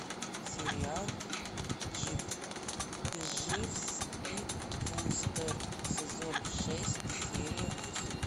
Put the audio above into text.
сериал дживс и вустер сезон шесть серия восемь